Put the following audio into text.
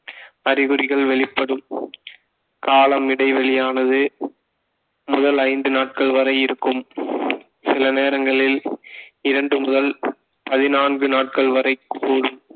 அறிகுறிகள் வெளிப்படும் காலம் இடைவெளியானது முதல் ஐந்து நாட்கள் வரை இருக்கும் சில நேரங்களில் இரண்டு முதல் பதினான்கு நாட்கள் வரை கூடும்